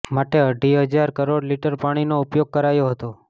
માટે અઢી હજાર કરોડ લીટર પાણીનો ઉપયોગ કરાયો હતો